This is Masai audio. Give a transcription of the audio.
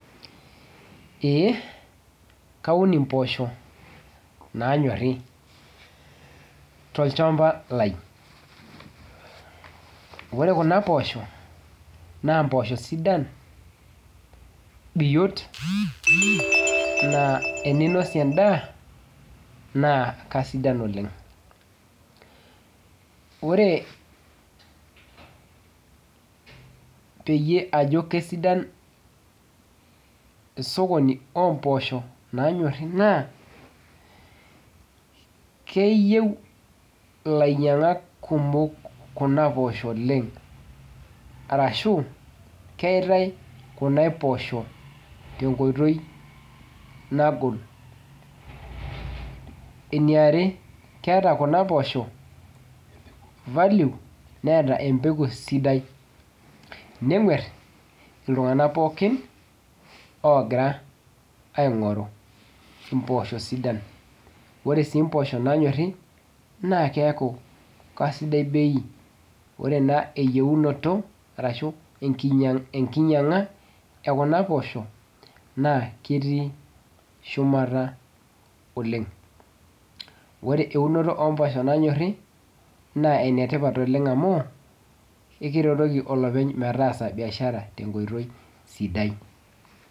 Ee kaun impoosho nanyori tolchamba lai. Ore kuna poosho, na mpoosho sidan biot, naa eninosie endaa, naa kasidan oleng. Ore peyie ajo kesidan esokoni ompoosho nanyorri naa, keyieu ilainyang'ak kumok kuna poosho oleng. Arashu, keitai kuna poosho tenkoitoi nagol. Eniare, keeta kuna poosho value, neeta empeku sidai. Neng'uer iltung'anak pookin ogira aing'oru impoosho sidan. Ore si mpoosho nanyorri, naa keeku kasidai bei. Ore naa eyieunoto arashu enkinyang'a ekuna poosho, naa ketii shumata oleng. Ore eunoto ompoosho nanyorri, naa enetipat oleng amu, ekiretoki olopeny metaasa biashara tenkoitoi sidai.